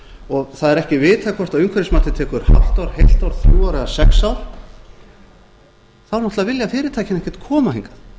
og það er ekki vitað hvort umhverfismatið tekur hálft ár heilt ár þrjú ár eða sex ár þá náttúrlega vilja fyrirtækin ekkert koma hingað